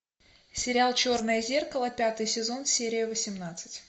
сериал черное зеркало пятый сезон серия восемнадцать